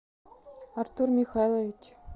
артур михайлович